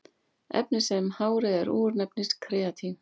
Efnið sem hárið er úr nefnist keratín.